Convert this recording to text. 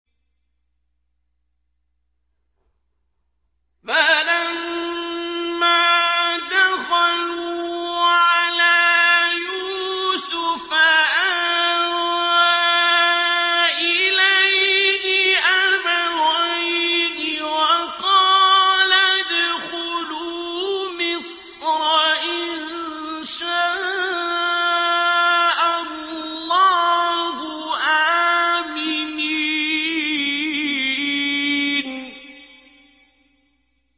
فَلَمَّا دَخَلُوا عَلَىٰ يُوسُفَ آوَىٰ إِلَيْهِ أَبَوَيْهِ وَقَالَ ادْخُلُوا مِصْرَ إِن شَاءَ اللَّهُ آمِنِينَ